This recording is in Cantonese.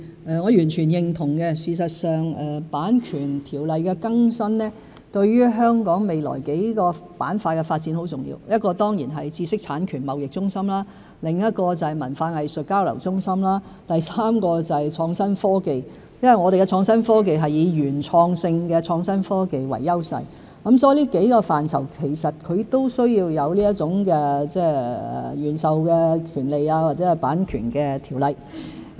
我完全認同更新《版權條例》對香港未來數個板塊的發展很重要，其一當然是知識產權貿易中心，另外就是文化藝術交流中心，第三是創新科技，因為我們的創新科技是以原創性的創新科技為優勢，所以這幾個範疇均需有"原授專利"和版權的條例。